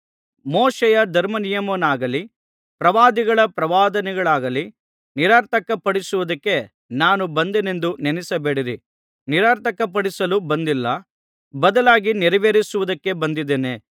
ಮೋಶೆಯ ಧರ್ಮನಿಯಮವನ್ನಾಗಲಿ ಪ್ರವಾದಿಗಳ ಪ್ರವಾದನೆಗಳನ್ನಾಗಲಿ ನಿರರ್ಥಕಪಡಿಸುವುದಕ್ಕೆ ನಾನು ಬಂದೆನೆಂದು ನೆನಸಬೇಡಿರಿ ನಿರರ್ಥಕಪಡಿಸಲು ಬಂದಿಲ್ಲ ಬದಲಾಗಿ ನೆರವೇರಿಸುವುದಕ್ಕೆ ಬಂದಿದ್ದೇನೆ